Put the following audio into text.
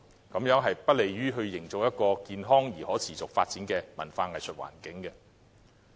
這樣是不利營造健康而可持續發展的文化藝術環境。